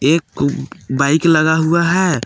एक गु बाइक लगा हुआ है।